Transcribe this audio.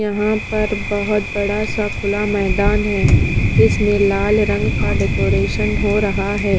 यहाँ पर बहुत बड़ा सा खुला मैदान है जिसमें लाल रंग का डेकोरेशन हो रहा है।